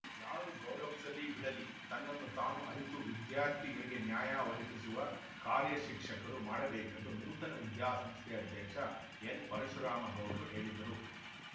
ಯಾರು ಗೌರವಿಸಲಿ ಬಿಡಲಿ ತನ್ನನ್ನು ತಾನು ಅರಿತು ವಿದ್ಯಾರ್ಥಿಗಳಿಗೆ ನ್ಯಾಯ ಒದಗಿಸುವ ಕಾರ್ಯ ಶಿಕ್ಷಕರು ಮಾಡಬೇಕೆಂದು ನೂತನ ವಿದ್ಯಾಸಂಸ್ಥೆ ಅಧ್ಯಕ್ಷ ಎನ್‌ಪರಶುರಾಮ ಗೌಡ್ರು ಹೇಳಿದರು